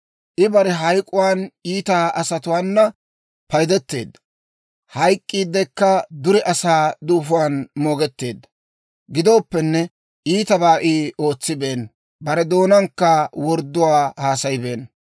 I bare hayk'k'uwaan iita asatuwaana paydeteedda; hayk'k'iidekka dure asaa duufuwaan moogetteedda. Gidooppenne, iitabaa I ootsibeenna; bare doonaankka wordduwaa haasayibeenna.